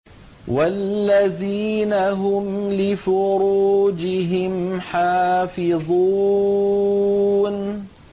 وَالَّذِينَ هُمْ لِفُرُوجِهِمْ حَافِظُونَ